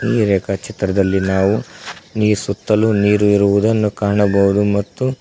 ಈ ರೇಖಾ ಚಿತ್ರದಲ್ಲಿ ನಾವು ನೀರ್ ಸುತ್ತಲೂ ನೀರು ಇರುವುದನ್ನು ಕಾಣಬಹುದು ಮತ್ತು--